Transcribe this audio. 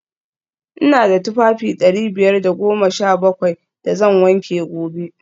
v Ina da tufafi dari biyar da goma sha bakwai da zan wanke gobe